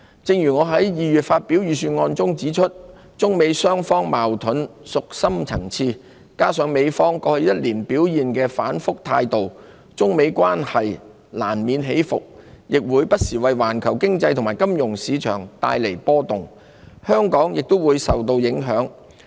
正如我在2月發表的預算案中指出，中美雙方的矛盾屬深層次，加上美方過去1年表現出反覆的態度，中美關係難免起伏，並會不時為環球經濟和金融市場帶來波動，香港也會受到影響。